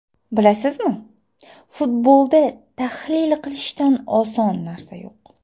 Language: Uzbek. Bilasizmi, futbolda tahlil qilishdan oson narsa yo‘q.